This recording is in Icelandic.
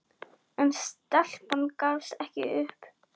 En stelpan gafst ekki upp.